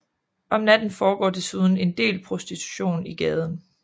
Om natten foregår desuden en del prostitution i gaden